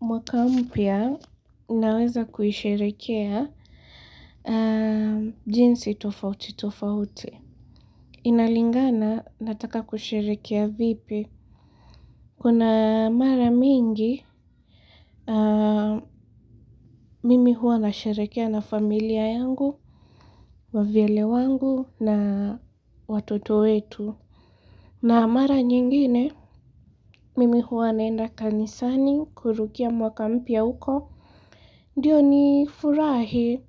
Mwaka mpya unaweza kuisherehekea jinsi tofauti tofauti. Inalingana nataka kusherehekea vipi. Kuna mara mingi, mimi huwa na sherehekea na familia yangu, wavyele wangu na watoto wetu. Na mara nyingine, mimi huwa naenda kanisani kurukia mwaka mpya uko. Ndiyo ni furahi,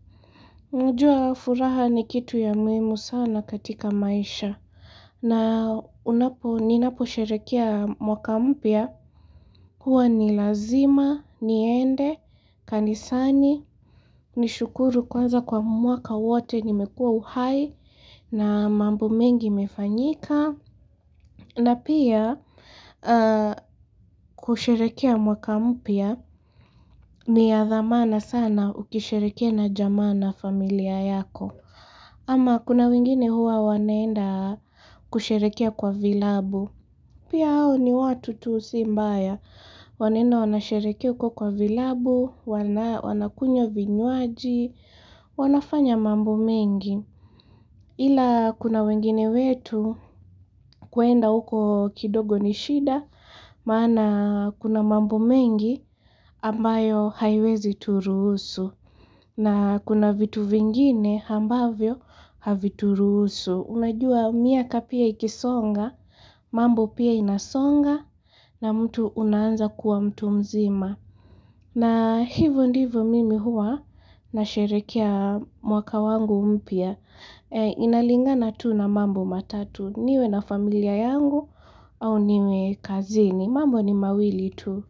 unajua furaha ni kitu ya muhimu sana katika maisha. Na unapo, ninapo sherehekia mwaka mpya, huwa ni lazima, niende, kanisani, nishukuru kwanza kwa mwaka wote, nimekua uhai, na mambo mengi imefanyika. Na pia kusherehekea mwaka mpya ni ya dhamana sana ukisherehekea na jamaa na familia yako. Ama kuna wengine huwa wanaenda kusherehekea kwa vilabu. Pia hao ni watu tu si mbaya. Wanaenda wanasherehekea huko kwa vilabu, wanakunywa vinywaji, wanafanya mambo mengi. Ila kuna wengine wetu kuenda uko kidogo ni shida maana kuna mambo mengi ambayo haiwezi turuhusu na kuna vitu vingine ambavyo havituruhusu. Unajua miaka pia ikisonga, mambo pia inasonga na mtu unaanza kuwa mtu mzima. Na hivyo ndivyo mimi huwa na sherehekia mwaka wangu mpya. Inalingana tu na mambo matatu niwe na familia yangu au niwe kazini. Mambo ni mawili tu.